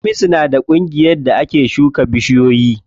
Hamisu na da ƙungiyar da ake shuka bishiyoyi.